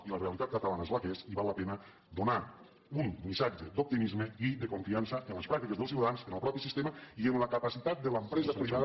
i la realitat catalana és la que és i val la pena donar un missatge d’optimisme i de confiança amb les pràctiques dels ciutadans amb el propi sistema i amb la capacitat de l’empresa privada